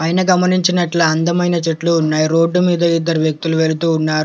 పైన గమనించినట్ల అందమైన చెట్లు ఉన్నాయి రోడ్డు మీద ఇద్దరు వ్యక్తులు వెళుతూ ఉన్నారు.